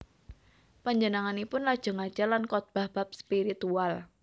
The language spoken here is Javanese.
Panjenenganipun lajeng ngajar lan khotbah bab spiritual